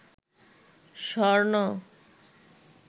স্বর্ণ